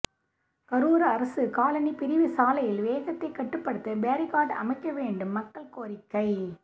கரூர் அரசு காலனி பிரிவு சாலையில் வேகத்தை கட்டுப்படுத்த பேரிகார்டு அமைக்க வேண்டும் மக்கள் கோரிக்கை